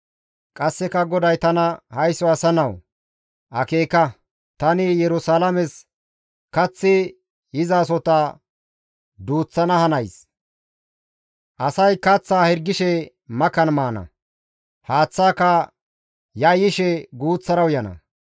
Qasseka GODAY tana, «Haysso asa nawu! Akeeka; tani Yerusalaames kaththi yizasota duuththana hanays; asay kaththa hirgishe makan maana; haaththaaka yayyishe guuththara uyana.